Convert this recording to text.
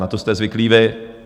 Na tu jste zvyklí vy.